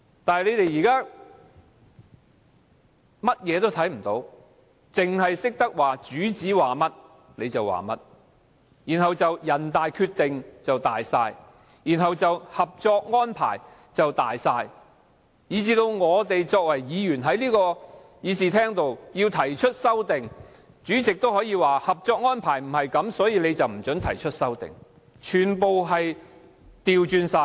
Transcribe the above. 但是，他們現在甚麼也看不到，只懂得按照主子的說話辦事，人大決定大於一切，《合作安排》大於一切，甚至議員要提出修正案，主席也可以不符合《合作安排》為理由不准提出，完全倒行逆施。